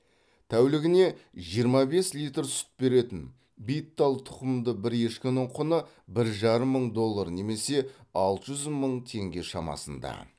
тәулігіне жиырма бес литр сүт беретін биттал тұқымды бір ешкінің құны бір жарым мың доллар немесе алты жүз мың теңге шамасында